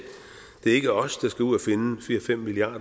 det er ikke os der skal ud at finde fire fem milliard